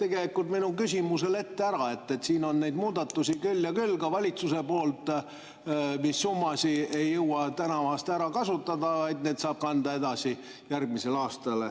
tegelikult mu küsimusele juba ära, et siin on neid muudatusi küll ja küll, ka valitsuse poolt, mille summasid ei jõua tänavu ära kasutada, ja need saab kanda edasi järgmisesse aastasse.